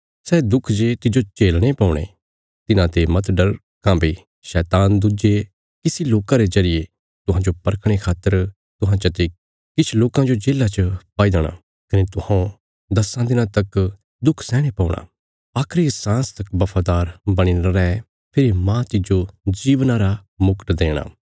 सै दुख जे तिज्जो झलणे पौणे तिन्हांते मत डर काँह्भई शैतान दुज्जे किछ लोकां रे जरिये तुहांजो परखणे खातर तुहां चते किछ लोकां जो जेल्ला च पाई देणा कने तुहौं दस्सां दिनां तक दुख सैहणे पौणा आखरी सांस तक बफादार बणीने रै फेरी मांह तिज्जो जीवना रा मुकट देणा